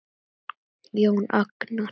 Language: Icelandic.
Jón Agnar?